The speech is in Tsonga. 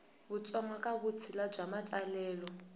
kutsongo ka vutshila bya matsalelo